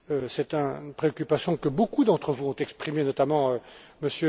C'est une préoccupation que beaucoup d'entre vous ont exprimée, notamment M.